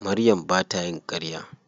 Maryam ba ta yin ƙarya.